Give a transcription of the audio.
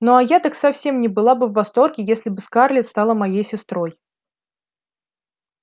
ну а я так совсем не была бы в восторге если бы скарлетт стала моей сестрой